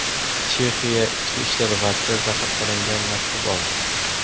Chexiya Ichki ishlar vaziri zahar solingan maktub oldi.